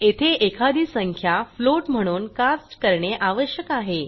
येथे एखादी संख्या फ्लोट म्हणून कास्ट करणे आवश्यक आहे